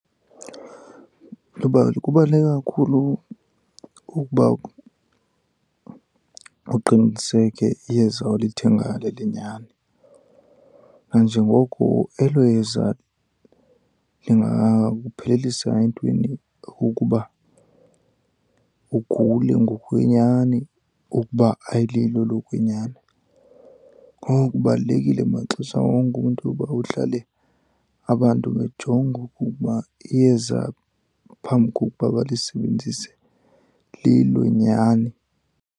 Luba kubaluleke kakhulu ukuba uqiniseke iyeza olithengayo lelenyani nanjengoko elo yeza lingakuphelisa entweni ukuba ugule ngokwenyani ukuba ayililo elokwenyani. Ngoko kubalulekile maxesha wonke umntu uba uhlale abantu bejonga ukuba iyeza phambi kokuba balisebenzise lilo nyani.